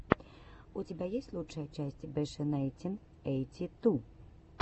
у тебя есть лучшая часть беши найнтин эйти ту